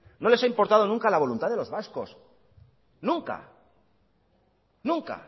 no les ha importado nunca la voluntad de los vascos nunca nunca